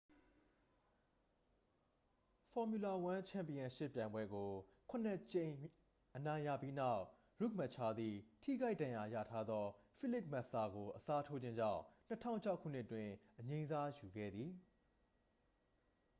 formula 1 ချန်ပီယံရှစ် ပြိုင်ပွဲကို ခုနှစ်ကြိမ် အနိုင်ရပြီးနောက် ရှူမက်ချာသည် ထိခိုက်ဒဏ်ရာရထားသော ဖိလစ်မက်ဆာကို အစားထိုးခြင်းကြောင့် 2006 ခုနှစ်တွင် အငြိမ်းစားယူခဲ့သည့် ဖြစ်သည်